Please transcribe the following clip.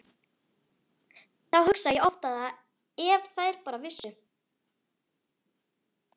Þá hugsa ég oft að ef þær bara vissu.